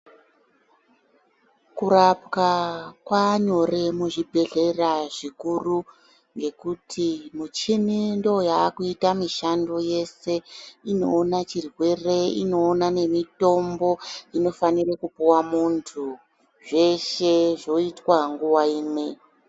Kurapwa kwaanyore muzvibhedhlera zvikuru ngekuti michini ndiyo yaakuita mishando yeshe, inoona chirwere, inoona nemitombo inofanira kupiwa muntu zveshe zvoitwa nguwa imwe.